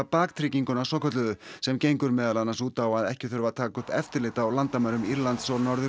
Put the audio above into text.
baktrygginguna svokölluðu sem gengur meðal annars út á að ekki þurfi að taka upp eftirlit á landamærum Írlands og Norður